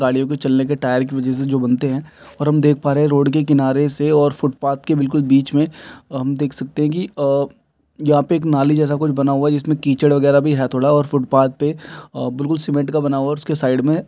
गाड़ियों के चलने के वजह से जो बनते हैं और हम देख पा रहे हैं रोड के किनारे से और फुटपाथ के बिलकुल बीच में हम देख सकते है की आ यहां पे एक नाली जैसे कुछ बना हुआ हैं इसमे कीचड़ वगैरा भी है थोड़ा और फुटपाथ पे बिलकुल सीमेंट का बना हुआ हैं और इसके साइड में --